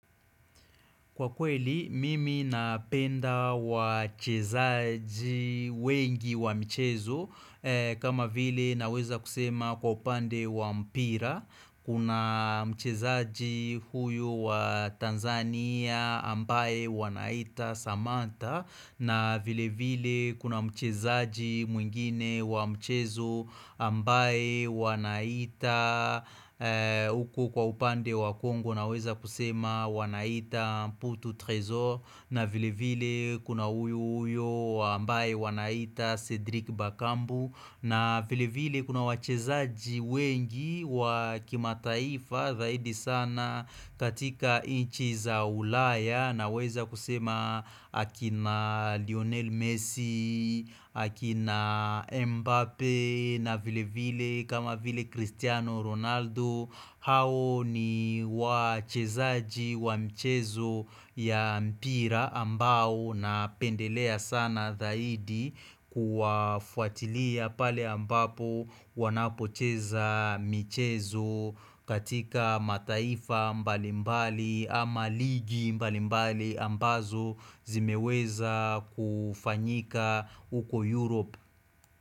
Kwa kweli, mimi napenda wa chezaji wengi wa michezo kama vile naweza kusema kwa upande wa mpira Kuna mchezaji huyu wa Tanzania ambaye wanaita Samantha na vile vile kuna mchezaji mwingine wa mchezo ambaye wanaita Uku kwa upande wa Congo wanaweza kusema wanaita Putu Trezor na vile vile kuna huyu huyo ambaye wanaita Cedric Bakambu na vile vile kuna wachezaji wengi wakimataifa zaidi sana katika nchi za ulaya naweza kusema akina Lionel Messi, akina Mbappe na vile vile kama vile Cristiano Ronaldo hao ni wachezaji wa mchezo ya mpira ambao na pendelea sana dhaidi kuwafuatilia pale ambapo wanapocheza michezo katika mataifa mbali mbali ama ligi mbali mbali ambazo zimeweza kufanyika uko Europe.